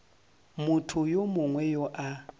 motho yo mongwe yo a